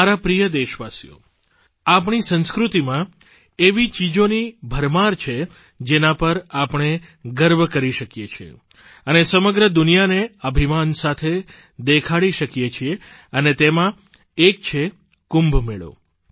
મારા પ્રિય દેશવાસીઓ આપણી સંસ્કૃતિમાં એવી ચીજોની ભરમાર છે જેના પર આપણે ગર્વ કરી શકીએ છીએ અને સમગ્ર દુનિયાને અભિમાન સાથે દેખાડી શકીએ છીએ અને તેમાં એક છે કુંભ મેળો